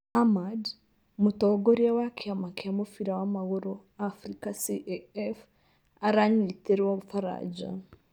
Ahmad : mūtongorīa wa kīama kīa mūbīra wa magūrū Afrīca CAF aranyītīrwo baraja